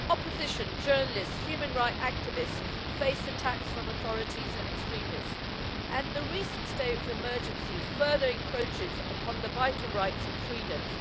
Opposition, journalists, human rights activists, face attacks from authorities and extremists, and the recent state of emergency further encroaches upon the vital rights and freedoms.